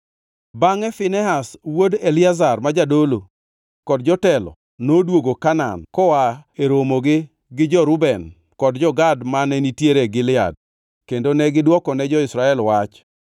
Bangʼe Finehas wuod Eliazar ma jadolo, kod jotelo noduogo Kanaan koa e romogi gi jo-Reuben kod jo-Gad mane nitiere Gilead kendo ne gidwokone jo-Israel wach.